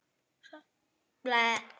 Svo skildi leiðir.